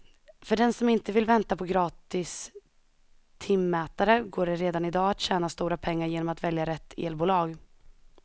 För den som inte vill vänta på gratis timmätare går det redan i dag att tjäna stora pengar genom att välja rätt elbolag.